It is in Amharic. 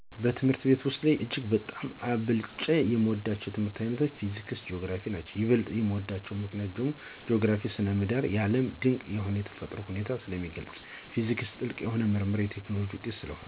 በትምህርት ቤት ውሰጥ እጅግ በጣም አብልጨ የምወዳቸው የትምህርት ዓይነቶች ፊዚክስና ጂኦግራፊ ናቸዉ። ይበልጥ የምወድባቸው ምክንያት ጂኦግራፊ ( ስነ ምድር ) የዓለም ድቅ የሆነ የተፈጥሮ ሁኔታን ስለሚገልጽ፤ ፊዚክስ ጥልቅ የሆኑ የምርምርና የቴክኖሎጂ ውጤት የሚታይበት የትምህርት ዓይነት ነው።